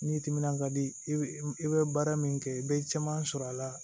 N'i timinan ka di i be i be baara min kɛ i be caman sɔrɔ a la